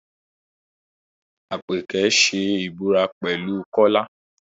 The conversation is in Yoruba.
Àpèkẹ́ ṣe ìbúra pẹ̀lú Kọ́lá